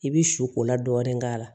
I bɛ su kola dɔɔnin k'a la